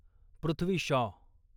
Prithvi Shaw